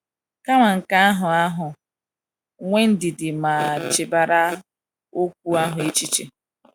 Kama nke ahụ ahụ, nwee ndidi ma chebara okwu ahụ echiche.